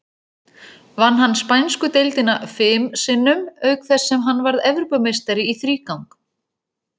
Vann hann spænsku deildina fim sinnum, auk þess sem hann varð Evrópumeistari í þrígang.